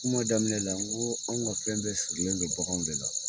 Kuma daminɛ la, n ko an ka fɛn bɛ sirilen don baganw de la.